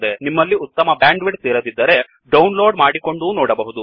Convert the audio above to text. ನಿಮ್ಮಲ್ಲಿ ಉತ್ತಮ bandwidth ಇರದಿದ್ದರೆ ಡೌನ್ ಲೋಡ್ ಮಾಡಿಕೊಂಡೂ ನೋಡಬಹುದು